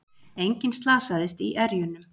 Enginn slasaðist í erjunum